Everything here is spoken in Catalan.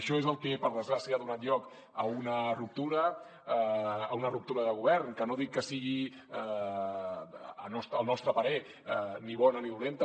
això és el que per desgràcia ha donat lloc a una ruptura a una ruptura de govern que no dic que sigui al nostre parer ni bona ni dolenta